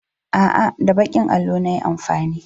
A'a, da baƙin allon na yi amfani.